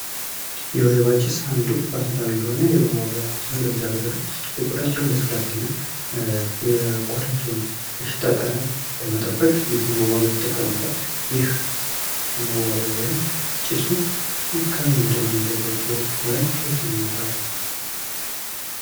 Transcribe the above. የወይባ ጭስ አንዱ ባህላዊ የሆነ የመዋቢያ ነው። ለልጅ አገረዶች የቆዳቸውን ልስላሴና የቆዳቸውን የሽታ ጠረን ለመጠበቅ ይህንን መዋቢያ ይጠቀሙታል። ይህ መዋቢያ ወይም ጭሱ ከምነው የሚዘጋጀው ወይንም ከዬት ነው የሚመጣው?